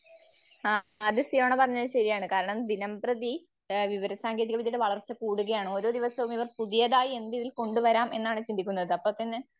ആ അത് സിയോണ പറഞ്ഞത് ശരിയാണ്. കാരണം ദിനംപ്രതി ഏഹ് വിവരസാങ്കേതികവിദ്യയുടെ വളർച്ച കൂടുകയാണ് ഓരോ ദിവസവും പുതിയതായി എന്ത് ഇതിൽ കൊണ്ടുവരാം എന്നാണ് ചിന്തിക്കുന്നത്. അപ്പപിന്നെ